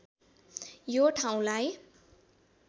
यो ठाउँलाई